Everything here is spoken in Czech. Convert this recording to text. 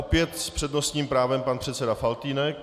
Opět s přednostním právem pan předseda Faltýnek.